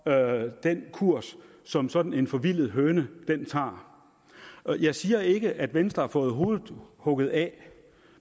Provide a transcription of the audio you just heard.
den kurs som sådan en forvildet høne tager jeg siger ikke at venstre har fået hovedet hugget af